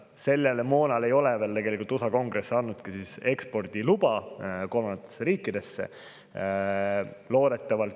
Sellele moonale ei ole veel USA Kongress andnud kolmandatesse riikidesse eksportimise luba.